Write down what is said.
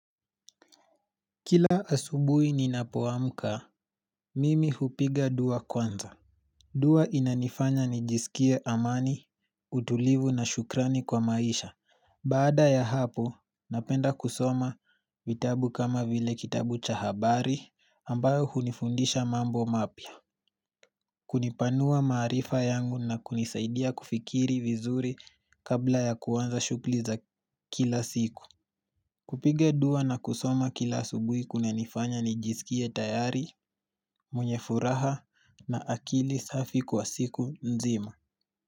Kila asubui ninapoamka, mimi hupiga dua kwanza. Dua inanifanya nijisikie amani, utulivu na shukrani kwa maisha. Baada ya hapo, napenda kusoma vitabu kama vile kitabu cha habari ambayo hunifundisha mambo mapya. Kunipanua maarifa yangu na kunisaidia kufikiri vizuri kabla ya kuanza shughuli za kila siku. Kupiga dua na kusoma kila subuhi kume nifanya nijisikie tayari, mwenye furaha na akili safi kwa siku nzima.